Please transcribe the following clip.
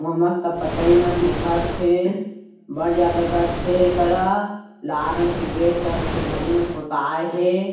वहाँ मस्त पतई मन दिखत हे बढ़ ज़्यादा गछ हे एकरा लाल रंग के गे कर के धारी में पोताए हे।